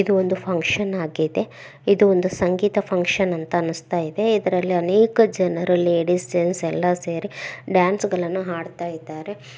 ಇದು ಒಂದು ಫನ್ಕ್ಷನ್ ಆಗಿದೆ ಇದು ಒಂದು ಸಂಗೀತ ಫನ್ಕ್ಷನ್ ಅಂತ ಅನ್ನಸ್ತಾ ಇದೆ ಇದ್ರಲ್ಲಿ ಅನೇಕ ಜನರಲ್ಲಿ ಲೇಡೀಸ್ ಜೆಂಟ್ಸ್ ಎಲ್ಲಾ ಸೇರಿ ಡಾನ್ಸ್ ಗಳನ್ನೂ ಹಾಡತ್ತಾ ಇದ್ದಾರೆ.